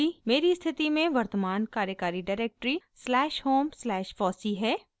मेरी स्थिति में वर्तमान कार्यकारी directory slash home slash fossee है